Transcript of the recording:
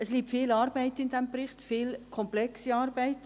Es liegt viel Arbeit in diesem Bericht, viel komplexe Arbeit.